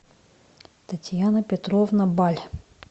татьяна петровна баль